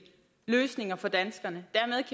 løsninger for danskerne